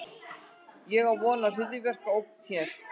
Hver á von á hryðjuverkaógn hér?